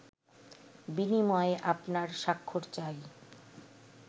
বিনিময়ে আপনার স্বাক্ষর চাই